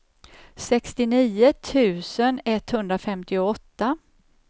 sextionio tusen etthundrafemtioåtta